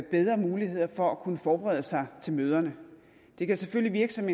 bedre muligheder for at kunne forberede sig til møderne det kan selvfølgelig virke som